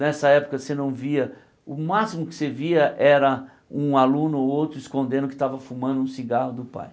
Nessa época você não via, o máximo que você via era um aluno ou outro escondendo que estava fumando um cigarro do pai.